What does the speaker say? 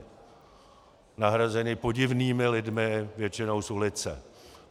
Nahrazeni podivnými lidmi, většinou z ulice.